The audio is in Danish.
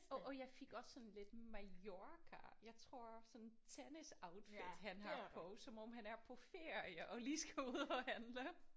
Åh og jeg fik også sådan lidt Mallorca jeg tror sådan tennisoutfit han har på som om han er på ferie og lige skal ud at handle